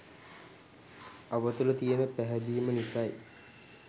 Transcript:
අප තුළ තියෙන පැහැදීම නිසයි.